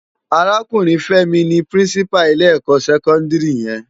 Árákúrin Femi ni Pirinsipá ilé èkò sèkòndiri yèn